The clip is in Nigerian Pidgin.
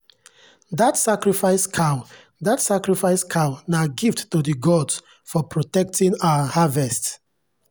that sacrifice cow that sacrifice cow na gift to the gods for protecting our harvest.